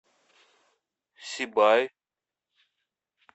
сибай